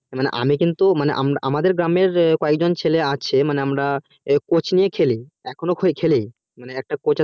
আমি কিন্তু আমাদের গ্রামের কয়েকজন ছেলে আছে আমরা coaching এ খেলি আমাদের একটা coach